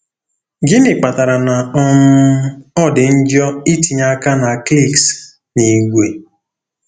Gịnị kpatara na um ọ dị njọ itinye aka na cliques n'ìgwè?